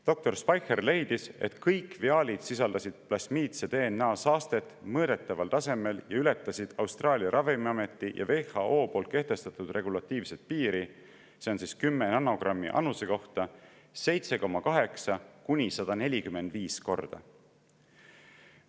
Doktor Speicher leidis, et kõik viaalid sisaldasid plasmiidse DNA saastet mõõdetaval tasemel ning ületas 7,8–145 korda Austraalia ravimiameti ja WHO kehtestatud regulatiivset piiri, mis on 10 nanogrammi annuse kohta.